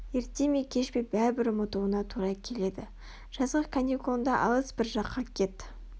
ерте ме кеш пе бәрібір ұмытуына тура келеді жазғы каникулыңда алыс бір жаққа кет